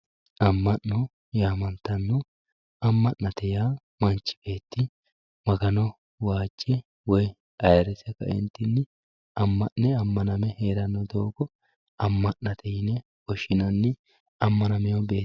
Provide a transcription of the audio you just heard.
Ama'no yaamantano, ama'nate yaa manchi beeti magano waajje woyi ayyirisse kaenitinni ama'ne amaname heerawo doogo amanate yine woshinanni amanamewo beeti